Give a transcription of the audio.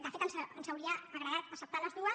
de fet ens hauria agradat acceptar les les dues